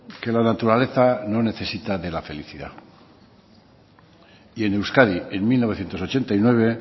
que la naturaleza no necesita de la felicidad y en euskadi en mil novecientos ochenta y nueve